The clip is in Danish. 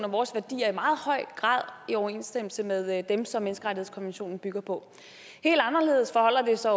og vores værdier i meget høj grad i overensstemmelse med dem som menneskerettighedskonventionen bygger på helt anderledes forholder det sig